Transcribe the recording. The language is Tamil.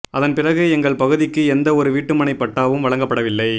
அதன் பிறகு எங்கள் பகுதிக்கு எந்த ஒரு வீட்டுமனை பட்டாவும் வழங்கப்படவில்லை